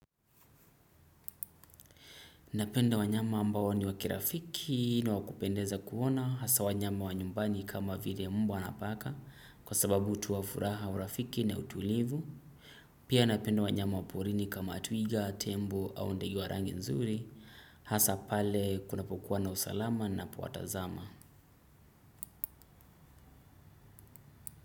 Napenda wanyama ambao ni wa kirafiki na kupendeza kuona hasa wanyama wa nyumbani kama vile umbwa na paka kwa sababu hutoa furaha. Pia napenda wanyama waporini kama tuiga, tembo au ndege wa rangi nzuri hasa pale kuna pokuwa na usalama napo watazama.